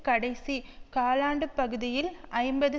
கடைசி காலாண்டுப்பகுதியில் ஐம்பது